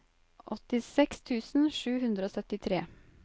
åttiseks tusen sju hundre og syttitre